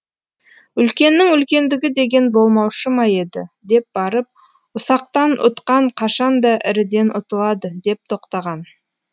үлкеннің үлкендігі деген болмаушы ма еді деп барып ұсақтан ұтқан қашанда іріден ұтылады деп тоқтаған